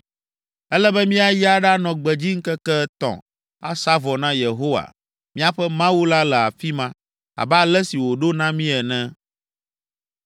Ele be míayi aɖanɔ gbedzi ŋkeke etɔ̃, asa vɔ na Yehowa, míaƒe Mawu la le afi ma, abe ale si wòɖo na mí ene.”